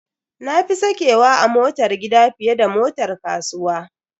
Na fi sakewa a motar gida fiye da motar kasuwa.